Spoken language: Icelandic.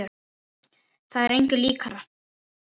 Það er engu líkara.